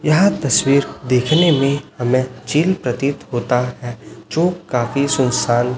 यह तस्वीर देखने में हमें चिल प्रतीत होता है जो काफी सुनसान--